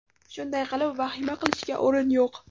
Shunday qilib, vahima qilishga o‘rin yo‘q.